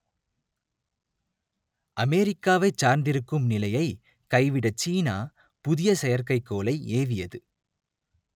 அமெரிக்காவைச் சார்ந்திருக்கும் நிலையை கைவிட சீனா புதிய செயற்கைக்கோளை ஏவியது